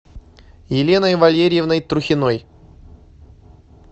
еленой валерьевной трухиной